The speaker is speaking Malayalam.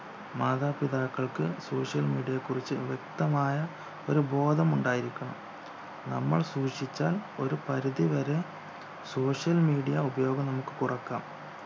മാതാപിതാക്കൾക്ക് social media യെക്കുറിച്ച് വ്യക്തമായ ഒരു ബോധമുണ്ടായിരിക്കണം നമ്മൾ സൂക്ഷിച്ചാൽ ഒരു പരിധി വരെ social media ഉപയോഗം നമുക്ക് കുറക്കാം